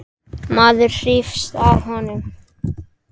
Maður hrífst af honum.